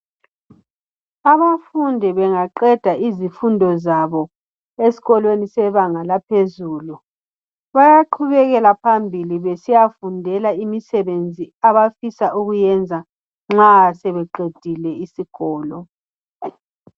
Abafundi bengaqeda izifundo zabo esikolweni sebanga laphezulu bayaqhubekela phambili besiyafundela imisebenzi abafisa ukuyenza nxa sebeqedile isikolo.